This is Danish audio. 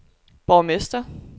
borgmester